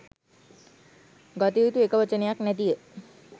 ගත යුතු එක වචනයක් නැතිය.